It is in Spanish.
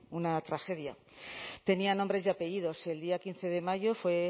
una tragedia tenía nombre y apellidos el día quince de mayo